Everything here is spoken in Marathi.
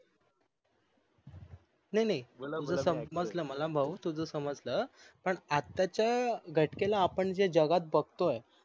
नाही नाही तुझ समजल मला भाऊ तुझ समजल पान आताच्या घटकेला आपण जे जगात बघतोय